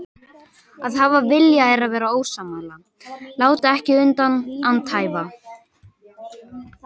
Að hafa vilja er að vera ósammála, láta ekki undan, andæfa.